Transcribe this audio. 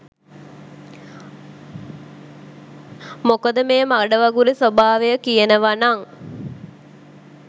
මොකද මේ මඩ වගුරෙ ස්‍වභාවය කියනව නං